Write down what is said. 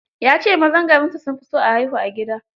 Ya ce mazan garinsu sun fi son a haihu a gida.